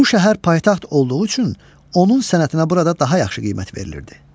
Bu şəhər paytaxt olduğu üçün onun sənətinə burada daha yaxşı qiymət verilirdi.